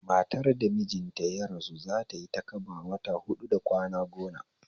Matar da mijinta ya rasu zatayi takaba wata huɗu da kwana gona